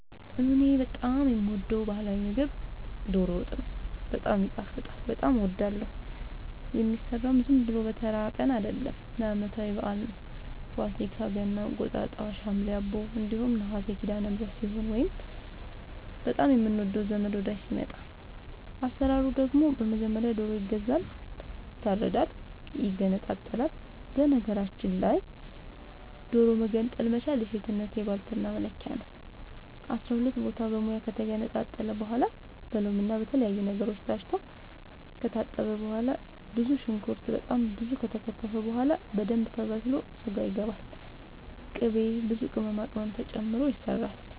እኔ በጣም የምወደው በህላዊ ምግብ ዶሮ ወጥ ነው። በጣም ይጣፍጣል በጣም አወዳለሁ። የሚሰራውም ዝም ብሎ በተራ ቀን አይደለም ለአመታዊ በአል ነው። ፋሲካ ገና እንቁጣጣሽ ሀምሌ አቦ እንዲሁም ነሀሴ ሲዳለምህረት ሲሆን ወይንም በጣም የምንወደው ዘመድ ወዳጅ ሲመጣ። አሰራሩ ደግሞ በመጀመሪያ ዶሮ ይገዛል ይታረዳል ይገነጣጠላል በነገራችል ላይ ዶሮ መገንጠል መቻል የሴትነት የባልትና መለኪያ ነው። አስራሁለት ቦታ በሙያ ከተገነጣጠለ በኋላ በሎምና በተለያዩ ነገሮች ታስቶ ከታጠበ በኋላ ብዙ ሽንኩርት በጣም ብዙ ከተከተፈ በኋላ በደንብ ተበስሎ ስጋው ይገባል ቅቤ ብዙ ቅመማ ቅመም ተጨምሮ ይሰራል